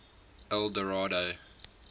eldorado